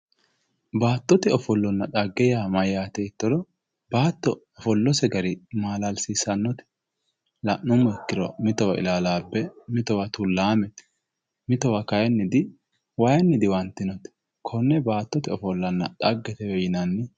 baatote ofollonna xagge yaa mayaate yiitoro baato ofollose gari maalalsiisannote la'nummo ikkiro mitowa ilaalaabe mitowa tulaamete mitowa kayiini diyi waayiini diwantinote konne baatotee ofollanna xaggetewe yinanni